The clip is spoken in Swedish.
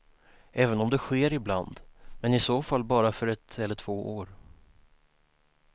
Även om det sker ibland men i så fall bara för ett eller två år.